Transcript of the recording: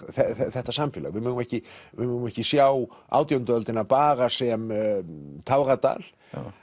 þetta samfélag við megum ekki ekki sjá átjándu öldina bara sem táradal